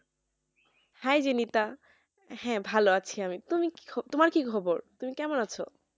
hi Binita হ্যাঁ ভালো আছি আমি তুমি কি তুমার কি খবর তুমি কেমন আছো